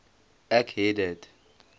ek het dit